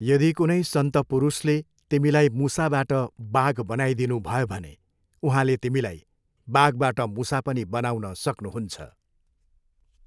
यदि कुनै सन्त पुरुषले तिमीलाई मुसाबाट बाघ बनाइदिनुभयो भने उहाँले तिमीलाई बाघबाट मुसा पनि बनाउन सक्नुहुन्छ।